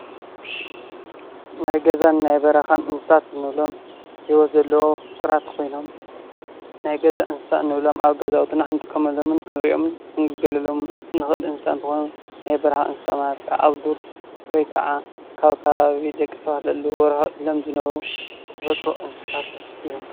ናይ ገዛን ናይ በረኻን እንስሳት ንብሎም ሂወት ዘለዎም ፉጡራት ኮይኖም ናይ ገዛ እንስሳ እንብሎም ኣብ ገዛውትና ክንጥቀመሎም ፣ክንርእዮምን ክንግልገለሎምን ንኽእል እንስሳ እንትኾኑ ናይ በረኻ እንስሳት ማለት ካዓ ኣብ ዱር ወይ ካዓ ካብ ከባቢ ደቂ ሰባት ርሕቕ ኢሎም ዝነብሩ ተፈጥራዊ እንስሳት እዮም።